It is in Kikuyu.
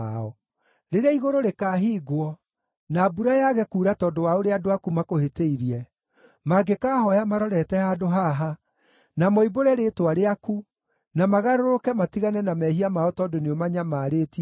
“Rĩrĩa igũrũ rĩkaahingwo, na mbura yaage kuura tondũ wa ũrĩa andũ aku makũhĩtĩirie, mangĩkaahooya marorete handũ haha, na moimbũre rĩĩtwa rĩaku na magarũrũke matigane na mehia mao tondũ nĩũmanyamarĩtie-rĩ,